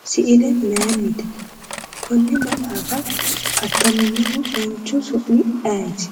misile maayiinnite? attaminohu manchu su'mi ayeeti?